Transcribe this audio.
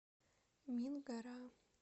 мингора